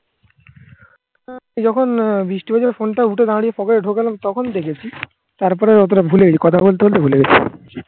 যখন বৃষ্টিবাজারের ফোনটা উঠে দাঁড়িয়ে pocket এ ঢোকালাম তখন দেখেছি. তারপরে অতটা ভুলে গেছি. কথা বলতে বলতে ভুলে গেছি